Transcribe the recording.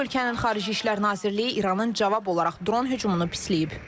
Bu ölkənin Xarici İşlər Nazirliyi İranın cavab olaraq dron hücumunu pisləyib.